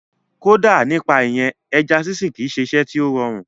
Kódà nípa ìyẹn, ẹja sínsìn kìí ṣe iṣẹ́ tí ó rọrùn